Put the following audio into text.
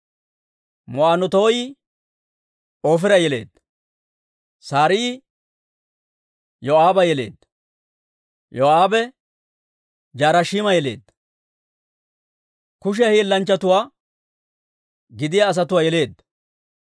Ma'onootaayi Oofira yeleedda. Saraayi Yoo'aaba yeleedda. Yoo'aabe Je-Harashiima yeleedda; Kushiyaa Hiillanchatuwaa gidiyaa asatuwaa yeleedda.